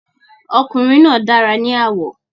Ọkùnrin náà dára ní àwọ̀.